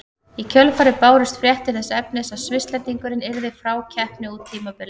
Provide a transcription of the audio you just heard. Í kjölfarið bárust fréttir þess efnis að Svisslendingurinn yrði frá keppni út tímabilið.